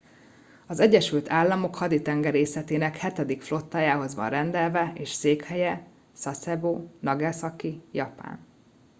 az egyesült államok haditengerészetének hetedik flottájához van rendelve és székhelye sasebo nagasaki japán